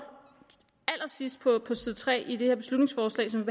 allersidst på side tre i det beslutningsforslag som